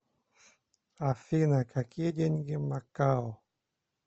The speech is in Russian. афина какие деньги в макао